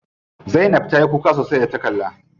Zainab ta yi kuka sosai da ta kalla.